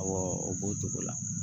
Awɔ o b'o togo la